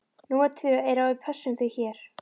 Númer tvö er að við pössum þig hér.